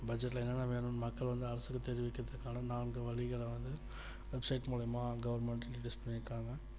budget ல என்னென்ன வேணும்னு மக்கள் வந்து அரசுக்கு தெரிவிக்கிறதுக்கான நான்கு வழிகளை வந்து website மூலமா government introduce பண்ணி இருக்காங்க